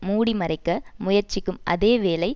மூடிமறைக்க முயற்சிக்கும் அதே வேளை